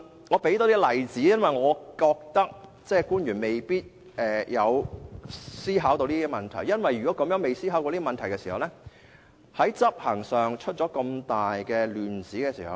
我多提供一些例子，因為我認為官員未必曾思考這些問題，要是他們未有思考過這些問題，便可能在執行上出亂子。